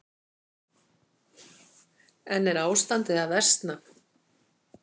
En er ástandið að versna?